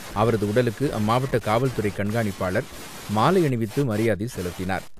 அவரது உடலுக்கு அம்மாவட்ட காவல்துறைக் கண்காணிப்பாளர் மாலை அணிவித்து மரியாதை செலுத்தினார்.